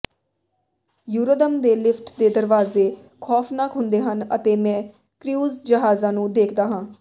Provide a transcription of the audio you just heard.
ਯੂਰੋਦਮ ਦੇ ਲਿਫਟ ਦੇ ਦਰਵਾਜ਼ੇ ਖੌਫਨਾਕ ਹੁੰਦੇ ਹਨ ਅਤੇ ਮੈਂ ਕ੍ਰੂਊਜ਼ ਜਹਾਜ਼ਾਂ ਨੂੰ ਦੇਖਦਾ ਹਾਂ